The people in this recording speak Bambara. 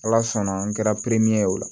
Ala sɔnna n kɛra peremin ye o la